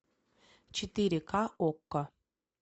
четыре ка окко